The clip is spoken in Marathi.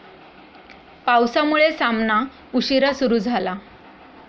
पावसामुळे सामना उशिरा सुरू झाला